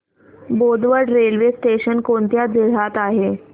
Bodwad railway station कोणत्या जिल्ह्यात आहे